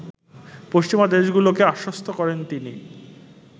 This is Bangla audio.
পশ্চিমা দেশগুলোকে আশ্বস্ত করেন তিনি